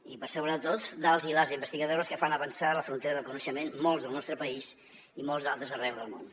i per sobre de tot dels i les investigadores que fan avançar la frontera del coneixement molts al nostre país i molts altres arreu del món